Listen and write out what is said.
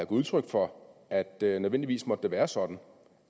udtryk for at det nødvendigvis må være sådan